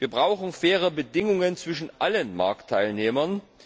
Wir brauchen faire Bedingungen zwischen allen Marktteilnehmern.